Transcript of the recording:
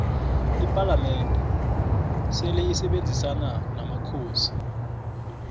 ipalamende seleisebenzisona nomakhosi